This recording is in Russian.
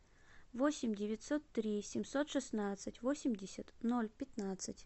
восемь девятьсот три семьсот шестнадцать восемьдесят ноль пятнадцать